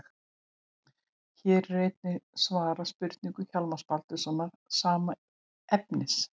Hér er einnig svarað spurningu Hjálmars Baldurssonar, sama efnis.